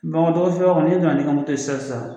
Bamakɔ sira kɔni n'i donna ni ka sisan